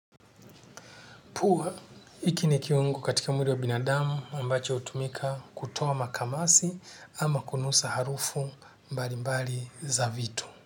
Pua iki ni kiungu katika mwili wa binadamu ambacho hutumika kutoa makamasi ama kunusa harufu mbali mbali za vitu.